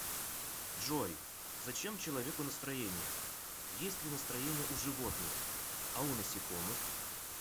джой зачем человеку настроение есть ли настроение у животных а у насекомых